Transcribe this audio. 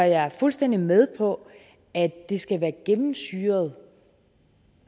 jeg er fuldstændig med på at det skal være gennemsyret